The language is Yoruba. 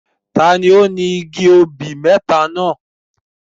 Ta ni ó ni igi obì mẹ́ta náà?